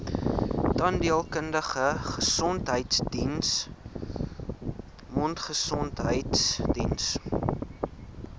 tandheelkundige gesondheidsdiens mondgesondheidsdiens